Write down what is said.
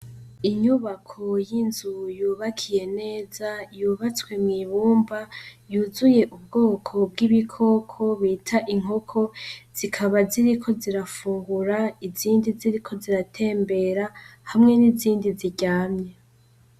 Inyubako y'inzu yubakiye neza yubatswe mw'ibumba yuzuye ubwoko bw'ibikoko bita inkoko, zikaba ziriko zirafungura izindi ziriko ziratembera hamwe n'izindi ziryamye.